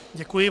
Děkuji.